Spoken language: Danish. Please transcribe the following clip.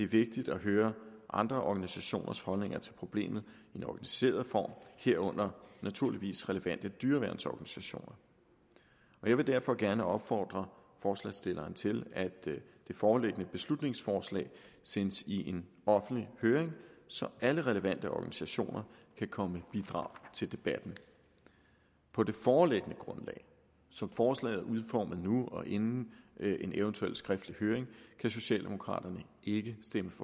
vigtigt at høre andre organisationers holdninger til problemet i den organiserede form herunder naturligvis relevante dyreværnsorganisationer jeg vil derfor gerne opfordre forslagsstilleren til at det foreliggende beslutningsforslag sendes i offentlig høring så alle relevante organisationer kan komme med bidrag til debatten på det foreliggende grundlag som forslaget er udformet nu og inden en eventuel skriftlig høring kan socialdemokraterne ikke stemme